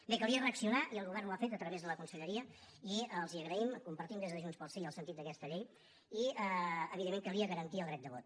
bé calia reaccionar i el govern ho ha fet a través de la conselleria i els ho agraïm compartim des de junts pel sí el sentit d’aquesta llei i evidentment calia garantir el dret de vot